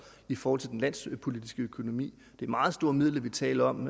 i forhold til den landspolitiske økonomi det er meget store midler vi taler om